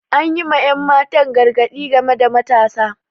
Anyi ma ƴan matan gargadi game da matasa